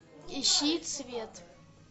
ищи цвет